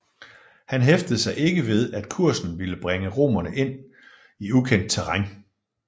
Han hæftede sig ikke ved at kursen ville bringe romerne ind i ukendt terræn